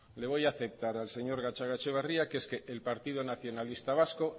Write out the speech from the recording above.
le voy a aceptar al señor gatzagaetxebarria que es que el partido nacionalista vasco